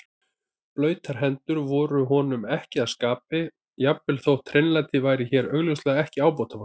Blautar hendur voru honum ekki að skapi, jafnvel þótt hreinlæti væri hér augljóslega ekki ábótavant.